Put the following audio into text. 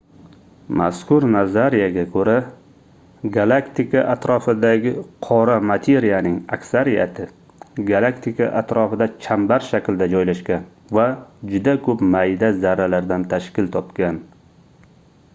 mazkur nazariyaga koʻra galaktika atrofidagi qora materiyaning aksariyati galaktika atrofida chambar shaklida joylashgan va juda koʻp mayda zarralardan tashkil topgan